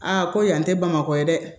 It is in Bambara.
Aa ko yan tɛ bamakɔ ye dɛ